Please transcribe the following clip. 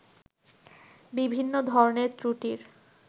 বিভিন্ন ধরনের ত্রুটির